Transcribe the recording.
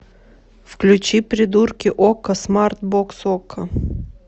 включи придурки окко смарт бокс окко